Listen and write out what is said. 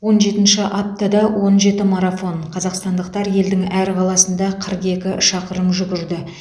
он жетінші аптада он жеті марафон қазақстандықтар елдің әр қаласында қырық екі шақырым жүгірді